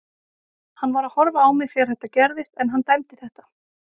Hann var að horfa á mig þegar þetta gerðist en hann dæmdi þetta.